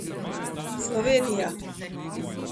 Slovenija.